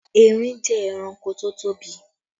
Erin jẹ́ ẹranko tó tóbi